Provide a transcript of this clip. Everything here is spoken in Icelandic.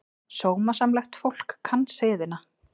Sómasamlegt fólk kann siðina.